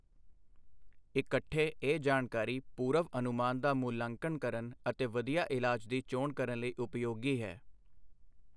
ਇਕੱਠੇ, ਇਹ ਜਾਣਕਾਰੀ ਪੂਰਵ ਅਨੁਮਾਨ ਦਾ ਮੁਲਾਂਕਣ ਕਰਨ ਅਤੇ ਵਧੀਆ ਇਲਾਜ ਦੀ ਚੋਣ ਕਰਨ ਲਈ ਉਪਯੋਗੀ ਹੈ।